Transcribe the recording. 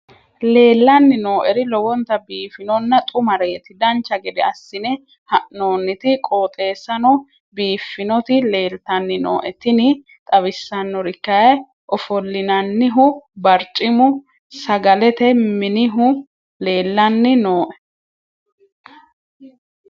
leellanni nooeri lowonta biiffinonna xumareeti dancha gede assine haa'noonniti qooxeessano biiffinoti leeltanni nooe tini xawissannori kayi ofollinannihu barcimu sagalete minihu leellanni nooe